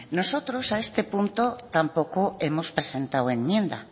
nosotros a este punto tampoco hemos presentado enmienda